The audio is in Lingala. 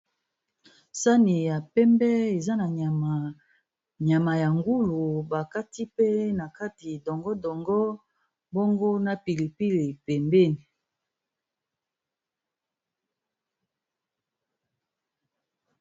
Sani ya pembe eza na nyama ya ngulu bakati pe na kati dongo-dongo bongo na pilipili pembeni.